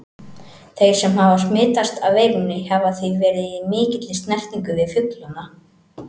Þeir sem hafa smitast af veirunni hafa því verið í mikilli snertingu við fuglana.